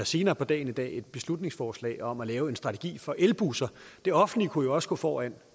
senere på dagen i dag et beslutningsforslag om at lave en strategi for elbusser det offentlige kunne jo også gå foran